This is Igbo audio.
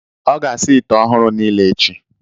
Ọ ga-asa ite ọhụrụ niile echi.